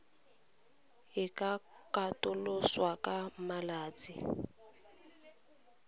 e ka katoloswa ka malatsi